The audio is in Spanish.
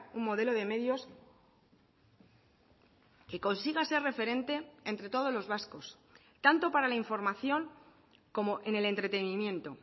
un modelo de medios que consiga ser referente entre todos los vascos tanto para la información como en el entretenimiento